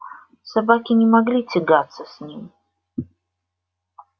собаки не могли тягаться с ним